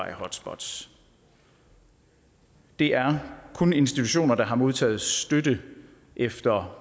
hotspots det er kun institutioner der har modtaget støtte efter